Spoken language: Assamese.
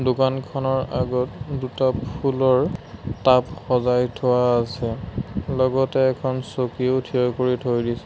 দোকানখনৰ আগত দুটা ফুলৰ টাব সজাই থোৱা আছে লগতে এখন চকীও থিয় কৰি থৈ দিছে।